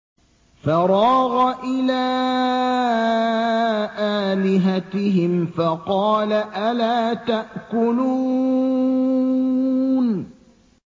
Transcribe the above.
فَرَاغَ إِلَىٰ آلِهَتِهِمْ فَقَالَ أَلَا تَأْكُلُونَ